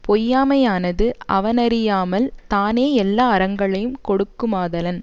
பொய்யாமையானது அவனறியாமல் தானே எல்லா அறங்களையுங் கொடுக்குமாதலன்